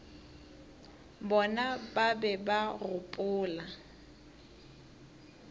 bona ba be ba gopola